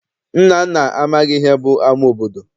Nnanna amaghị ihe bụ ama obodo.